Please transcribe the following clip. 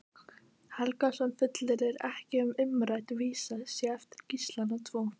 Helgason fullyrðir ekki að umrædd vísa sé eftir Gíslana tvo.